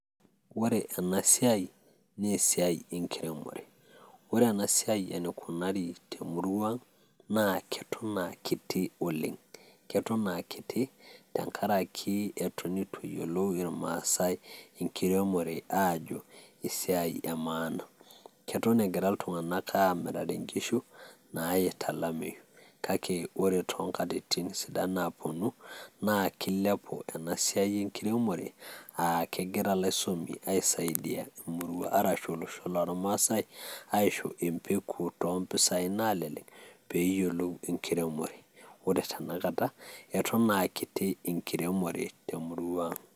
Ore ena siaai naa esiaai enkiremore, ore ena siaai eneikunari te murruaaang naa keton aa kiti oleng, keton aa kiti tengaraki eton etu eyiolou ilmaasai inkiremore aajo esiaai emaana, keton egira ltunganak aamirare inkishu naayeita lameeiyu kake ore tee nkatitin sidan naaponu naa keiliapu ana siaai enkiremore aa kegira laisomi aaisaidia emurrua arashu olosho loolmaasai aisho empeku too mpisaii naalelek peeyiolou inkiremore, ore tanakata eton aa kiti inkiremore te murrua aang.